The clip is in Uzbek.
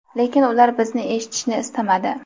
lekin ular bizni eshitishni istamadi.